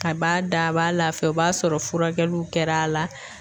A b'a da a b'a lafiya o b'a sɔrɔ furakɛluw kɛr'a la